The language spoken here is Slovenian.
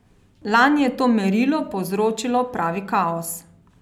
Lani je to merilo povzročilo pravi kaos.